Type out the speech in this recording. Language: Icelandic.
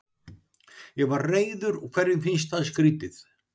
Ég var reiður og hverjum finnst það skrýtið?